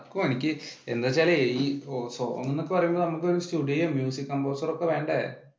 എന്ത് വെച്ചാലേ song എന്നൊക്കെ പറയുമ്പോൾ studio, music composer ഒക്കെ വേണ്ടേ?